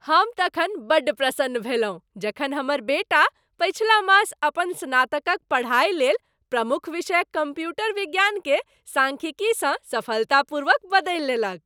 हम तखन बड्ड प्रसन्न भेलहुँ जखन हमर बेटा पछिला मास अपन स्नातकक पढ़ाइ लेल प्रमुख विषय कम्प्यूटर विज्ञानकेँ सांख्यिकीसँ सफलतापूर्वक बदलि लेलक।